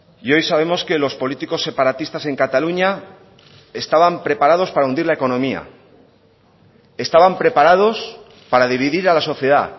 y hoy sabemos que los políticos separatistas en cataluña estaban preparados para hundir la economía estaban preparados para dividir a la sociedad